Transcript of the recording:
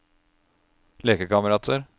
lekekamerater